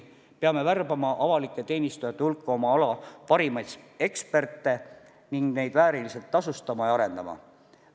Peame värbama avalike teenistujate hulka oma ala parimaid eksperte ning neid vääriliselt tasustama ja arendama.